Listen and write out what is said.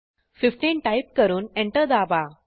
15 type करून enter दाबा